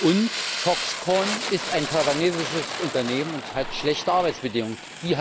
Und Foxconn ist ein taiwanesisches Unternehmen und hat schlechte Arbeitsbedingungen.